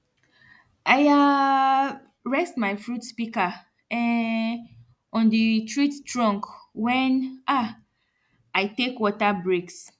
i um rest my fruit pika um on di treet trunk wen um i tek water breaks